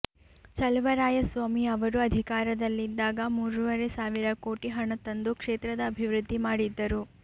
ಚಲುವರಾಯಸ್ವಾಮಿ ಅವರು ಅಧಿಕಾರದಲ್ಲಿದ್ದಾಗ ಮೂರೂವರೆ ಸಾವಿರ ಕೋಟಿ ಹಣ ತಂದು ಕ್ಷೇತ್ರದ ಅಭಿವೃದ್ಧಿ ಮಾಡಿದ್ದರು